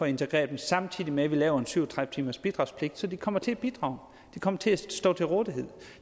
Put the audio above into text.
at integrere dem samtidig med at vi laver en syv og tredive timersbidragspligt så de kommer til at bidrage og kommer til at stå til rådighed